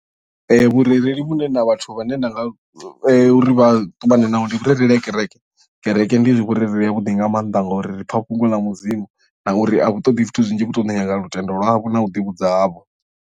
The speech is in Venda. Vhurereli vhune na vhathu vha ne nda nga uri vhaṱumane naho ndi vhurereli ha kereke kereke ndi vhurereli ha vhuḓi nga maanḓa ngauri ri pfa fhungo ḽa mudzimu na uri a vhu ṱoḓi zwithu zwinzhi vhu to ṱoḓa lutendo lwavho na u ḓivhudza havho.